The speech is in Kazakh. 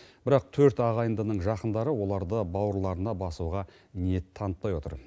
бірақ төрт ағайындының жақындары оларды бауырларына басуға ниет танытпай отыр